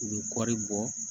U bɛ kɔɔri bɔ